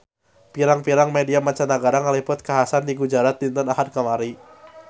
Pirang-pirang media mancanagara ngaliput kakhasan di Gujarat dinten Ahad kamari